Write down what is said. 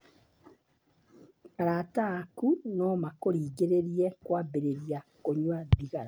Arata aaku no makũringĩrĩrie kwambĩrĩria kũnyua thigara.